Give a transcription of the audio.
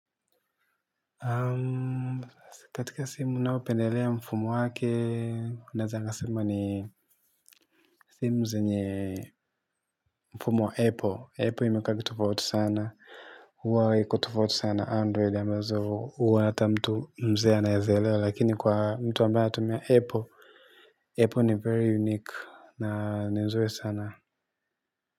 Naam, katika simu ninayopendelea mfumo wake ninaweza nikasema ni simu zenye mfumo wa apple apple imekaa vitofauti sana huwa iko tofauti sana na android ambazo huwa hata mtu mzee anawezaelewa lakini kwa mtu ambaye anatumia apple apple ni very unique na ni nzuri sana.